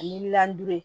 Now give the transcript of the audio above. Ani